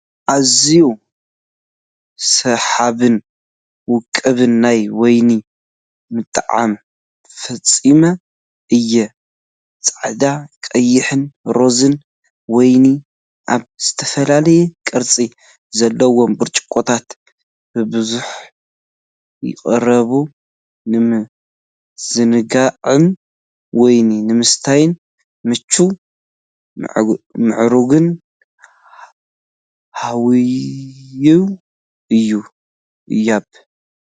ኣዝዩ ሰሓብን ውቁብን ናይ ወይኒ ምጥዓም ፍጻመ እዩ። ጻዕዳ፡ ቀይሕን ሮዛን ወይኒ ኣብ ዝተፈላለየ ቅርጺ ዘለዎም ብርጭቆታት ብብዝሒ ይቐርቡ። ንምዝንጋዕን ወይኒ ንምስታይን ምቹእን ምዕሩግን ሃዋህው ይህብ።